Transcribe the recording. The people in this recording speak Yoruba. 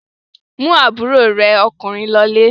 Mú àbúrò rẹ ọkùnrin lọlé!